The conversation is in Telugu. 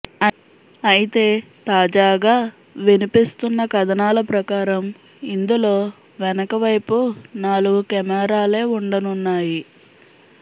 అయితే తాజాగా వినిపిస్తున్న కథనాల ప్రకారం ఇందులో వెనకవైపు నాలుగు కెమెరాలే ఉండనున్నాయి